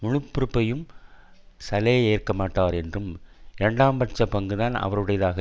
முழு பொறுப்பையும் சலே ஏற்கமாட்டார் என்றும் இரண்டாம் பட்ச பங்குதான் அவருடையதாக